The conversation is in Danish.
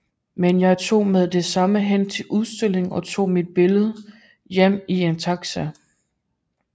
Men jeg tog med det samme hen til udstillingen og tog mit billede hjem i en taxi